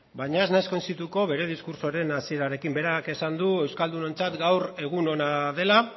baina ez naiz koinzidituko bere diskurtsoaren hasierarekin berak esan du euskaldunontzat gaur egun ona dela